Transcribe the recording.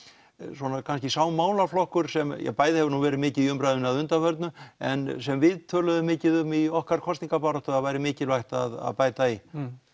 svona sá málaflokkur sem bæði hefur verið mikið í umræðunni að undanförnu en sem við töluðum mikið um í okkar kosningabaráttu að væri mikilvægt að bæta í